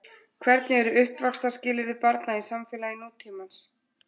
Hvernig eru uppvaxtarskilyrði barna í samfélagi nútímans?